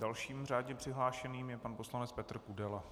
Dalším řádně přihlášeným je pan poslanec Petr Kudela.